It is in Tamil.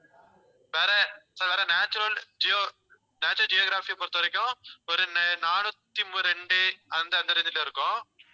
வேற sir வேற நேஷனல் ஜியோ~ நேஷனல் ஜியோக்ராஃபியை பொறுத்தவரைக்கும் ஒரு நா~ நானூத்தி ரெண்டு அந்த அந்த range ல இருக்கும்.